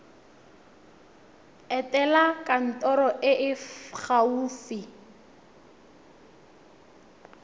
etela kantoro e e gaufi